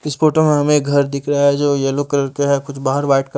इस फोटो में हमें एक घर दिख रहा हैं जो येलो कलर का हैं कुछ बाहर वाइट क--